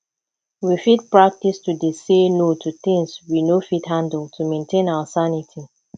we fit practice to dey say no to things we no fit handle to maintain our sanity